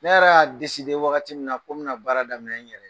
Ne yɛrɛ y'a wagati min na ko n bena baara daminɛ n yɛrɛ ye